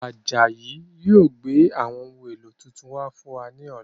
Ajayi yìí ó gbé àwọn ohun èlò tuntun wá fún wa ní ọ̀la.